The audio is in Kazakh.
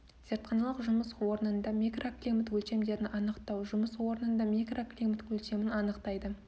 зертханалық жұмыс орнында микроклимат өлшемдерін анықтау жұмыс орнында микроклимат өлшемін анықтайды